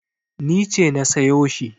Ni ce na sayo shi.